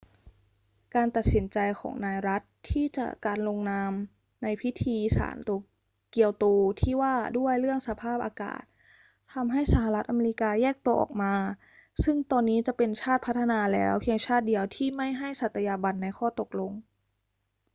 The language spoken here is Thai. การตัดสินใจของนายรัดด์ที่จะการลงนามในพิธีสารเกียวโตที่ว่าด้วยเรื่องสภาพอากาศทำให้สหรัฐอเมริกาแยกตัวออกมา ซึ่งตอนนี้จะเป็นชาติพัฒนาแล้วเพียงชาติเดียวที่ไม่ให้สัตยาบันในข้อตกลง